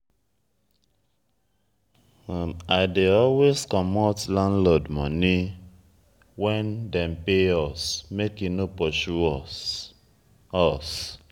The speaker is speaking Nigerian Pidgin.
i dey always comot landlord moni wen dem pay us make e no pursue us. us.